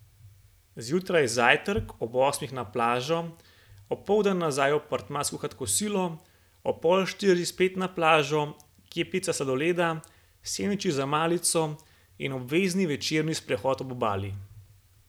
Zjutraj zajtrk, ob osmih na plažo, opoldan nazaj v apartma skuhat kosilo, ob pol štirih spet na plažo, kepica sladoleda, sendviči za malico in obvezni večerni sprehod ob obali.